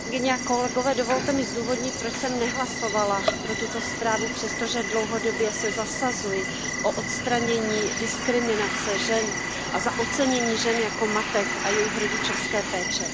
Paní předsedající, dovolte mi zdůvodnit, proč jsem nehlasovala pro tuto zprávu, přestože dlouhodobě se zasazuji o odstranění diskriminace žen a za ocenění žen jako matek a jejich rodičovské péče.